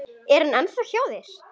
Er hann ennþá hjá þér?